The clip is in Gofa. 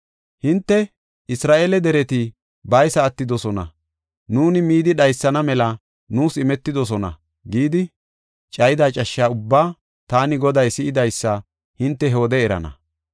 Hinte, ‘Isra7eele dereti baysa attidosona; nuuni midi dhaysana mela nuus imetidosona’ gidi, cayida cashsha ubbaa taani Goday si7idaysa hinte he wode erana.